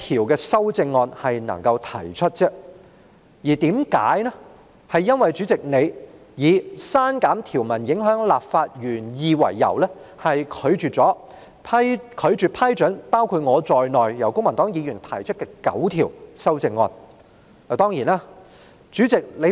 今次公民黨只能提出一項修正案，原因是主席以刪減條文會影響立法原意為由，拒絕批准由公民黨議員——包括我在內——提出的9項修正案。